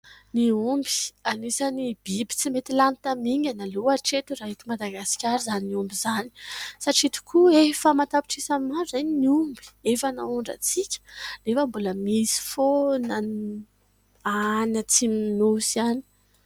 Ny omby, anisan'ny biby tsy mety lany tamingana aloha hatreto, raha eto Madagasikara izany omby izany, satria tokoa efa an_tapitrisany maro izay ny omby efa naondrantsika nefa mbola misy foana any atsimon'ny Nosy any.